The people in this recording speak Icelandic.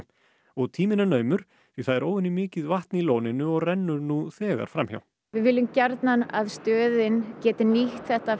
og tíminn er naumur því það er óvenjumikið vatn í lóninu og rennur nú þegar fram hjá við viljum gjarnan að stöðin geti nýtt þetta